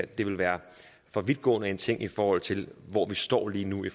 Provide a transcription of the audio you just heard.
det vil være for vidtgående en ting i forhold til hvor vi står lige nu i